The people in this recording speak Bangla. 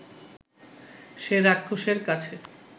সে রাক্ষসের কাছে